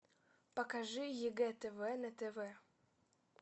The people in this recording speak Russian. покажи егэ тв на тв